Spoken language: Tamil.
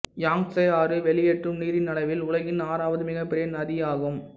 யாங்சே ஆறு வெளியேற்றும் நீரின் அளவில் உலகின் ஆறாவது மிகப்பெரிய நதி ஆகும்